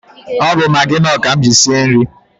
Ọ bụ Magị Nọọ ka m ji sie nri.